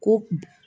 Ko